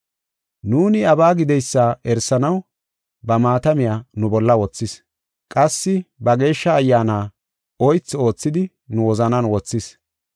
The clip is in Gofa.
Nuuni iyabaa gideysa erisanaw ba maatamiya nu bolla wothis; qassi ba Geeshsha Ayyaana oythi oothidi nu wozanan wothis.